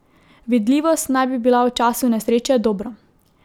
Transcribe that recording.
Vidljivost naj bi bila v času nesreče dobra.